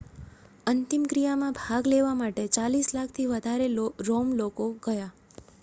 અંતિમક્રિયામાં ભાગ લેવા માટે ચાલીસ લાખથી વધારે લોકો રોમ ગયાં